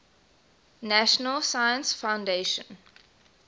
national science foundation